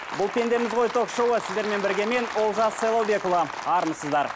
бұл пендеміз ғой ток шоуы сіздермен бірге мен олжас сайлаубекұлы армысыздар